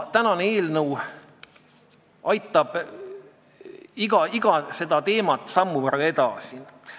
Tänane eelnõu aitab iga seda teemat sammu võrra edasi.